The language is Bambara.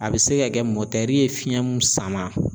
A bɛ se ka kɛ ye fiɲɛ mun sama